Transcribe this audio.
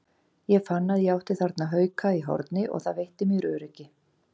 Ég fann að ég átti þarna hauka í horni og það veitti mér öryggi.